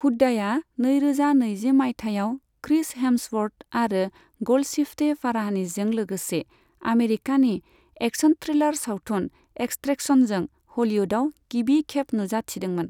हुड्डाया नैरोजा नैजि माइथायाव क्रिस हेम्सवर्थ आरो ग'ल्डशिफ्टे फाराहानिजों लोगोसे आमेरिकानि एक्सन थ्रिलार सावथुन एक्सट्रेक्शनजों ह'लिउदआव गिबिखेब नुजाथिदोंमोन।